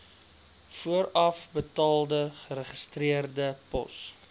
voorafbetaalde geregistreerde pos